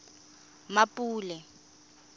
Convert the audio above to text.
mmapule